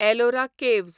Ellora caves